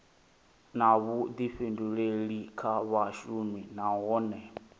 na vhuḓifhinduleli kha vhashumi nahone